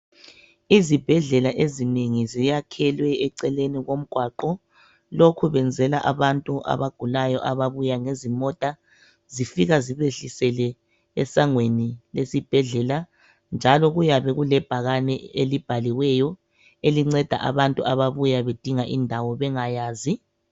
Izibhedlela ezinengi ziyakhelwe eceleni. komgwaqo. Lokhu benzela abantu abagulayo ababuya ngezimota. Zifika zibahlisele esangweni lesibhedlela. Njalo kuyabe kulebhakani elibhaliweyo elinceda abantu abuya bedinga indawo bengayazi